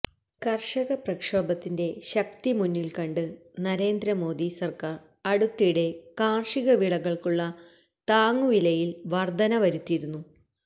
കര്ഷക പ്രക്ഷോഭത്തിന്റെ ശക്തി മുന്നില് കണ്ട് നരേന്ദ്ര മോദി സര്ക്കാര് അടുത്തിടെ കാര്ഷിക വിളകള്ക്കുള്ള താങ്ങുവിലയില് വര്ധന വരുത്തിയിരുന്നു